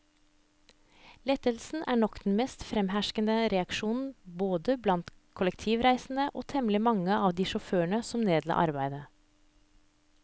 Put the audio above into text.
Lettelse er nok den mest fremherskende reaksjon både blant kollektivreisende og temmelig mange av de sjåfører som nedla arbeidet.